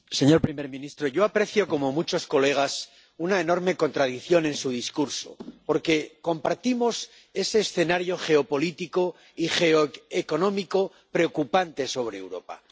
Señor presidente, señor primer ministro, yo aprecio, como muchos colegas, una enorme contradicción en su discurso, porque compartimos ese escenario geopolítico y geoeconómico preocupante sobre Europa.